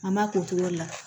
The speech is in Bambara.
An b'a k'o cogo de la